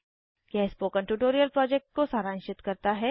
यह spoken tutorial project को सारांशित करता है